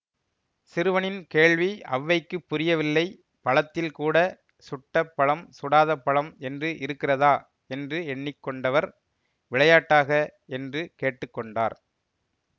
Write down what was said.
சிறுவனின் கேள்வி அவ்வைக்குப் புரியவில்லை பழத்தில் கூட சுட்டப் பழம் சுடாத பழம் என்று இருக்கிறதா என்று எண்ணி கொண்டவர் விளையாட்டாக என்று கேட்டு கொண்டார்